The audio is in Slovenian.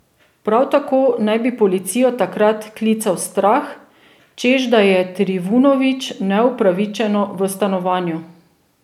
Prav tako naj bi policijo takrat klical Strah, češ da je Trivunović neupravičeno v stanovanju.